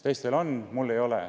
Teistel on, aga mul ei ole.